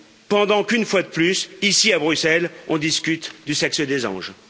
pendant qu'une fois de plus ici à Bruxelles, on discute du sexe des anges.